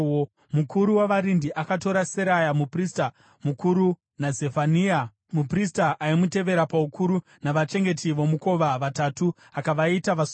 Mukuru wavarindi akatora Seraya muprista mukuru naZefania muprista aimutevera paukuru navachengeti vomukova vatatu akavaita vasungwa.